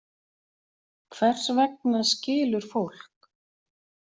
Hvers vegna skilur fólk?